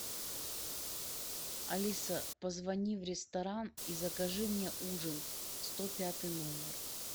алиса позвони в ресторан и закажи мне ужин сто пятый номер